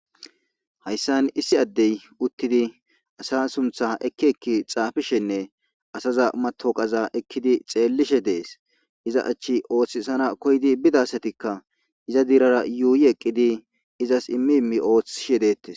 Hayssan issi addey uttidi asa sunththa ekki ekki xaafishenne asaza mattoqaza ekkidi xeelishe dees; iza achchi ooththisana koyidi bida asatika iza diirara yuuyi eqqidi izas immi immi oothisishe deetes.